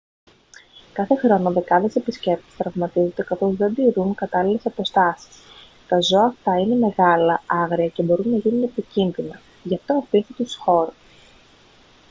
κάθε χρόνο δεκάδες επισκέπτες τραυματίζονται καθώς δεν τηρούν κατάλληλες αποστάσεις τα ζώα αυτά είναι μεγάλα άγρια και μπορούν να γίνουν επικίνδυνα γι' αυτό αφήστε τους χώρο